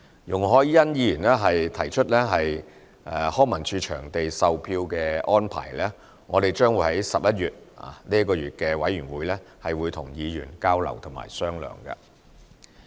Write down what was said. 容海恩議員提出康文署場地售票的安排，我們將會在11月，與議員進行交流及商量。